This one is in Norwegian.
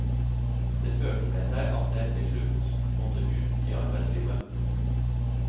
Dette førte med seg at jeg tilslutt måtte ut i arbeidslivet.